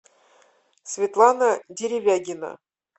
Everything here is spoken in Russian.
светлана деревягина